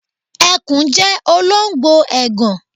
Ẹkùn jẹ́ olóńgbò ègàn.